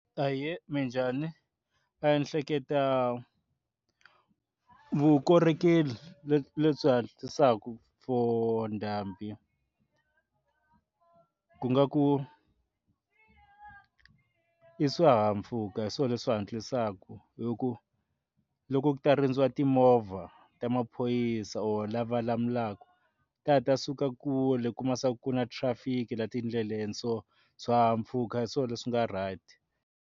Ahee, minjhani ni ehleketa vukorhokeri lebyi hatlisaka for ndhambi ku nga ku i swihahampfhuka hi swona leswi hatlisaka hi ku loko ku ta rindziwa timovha ta maphorisa or lava lamulaku ta ha ta suka kule kuma se ku na traffic laha tindleleni so swihahampfhuka hi swona leswi nga right.